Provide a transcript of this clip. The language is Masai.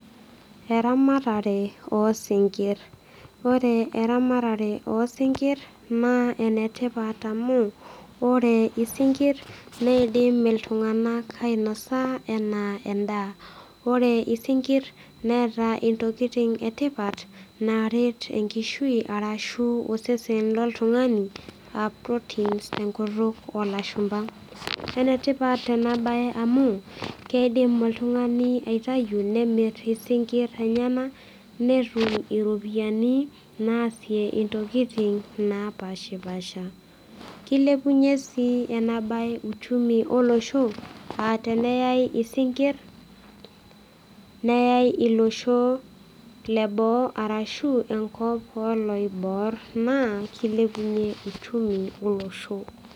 Eramatare osinkirr, ore eramatare osinkirr naa enetipat amu, ore isinkirr neidim iltung'anak ainosa enaa endaa. Ore isinkirr neeta ntokitin etipat naret enkishui arashu osesen loltungani aa proteins tekutuk olashumba. Enetipat ena bae amu keidim oltungani aitayu nemir isinkir lenyenak netumiropiyiani naasie intokitin napashpasha . Kilepunyie sii enabae uchumi olosho aa teneyay isinkir, neyay ilosho leboo arashu enkop oloiboor naa kilepunyie uchumi olosho.